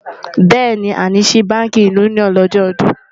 béèni, a ní sí bánkì unioni ní ojó ọdún